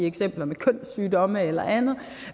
eksempler med kønssygdomme eller andet